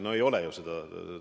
No ei ole ju seda!